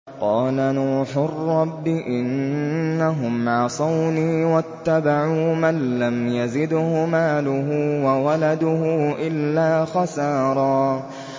قَالَ نُوحٌ رَّبِّ إِنَّهُمْ عَصَوْنِي وَاتَّبَعُوا مَن لَّمْ يَزِدْهُ مَالُهُ وَوَلَدُهُ إِلَّا خَسَارًا